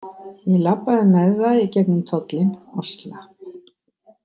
Ég labbaði með það í gegnum tollinn og slapp.